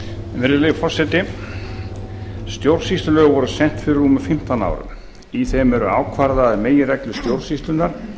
virðulegi forseti stjórnsýslulög voru sett fyrir rúmum fimmtán árum í þeim eru ákvarðaðar meginreglur stjórnsýslunnar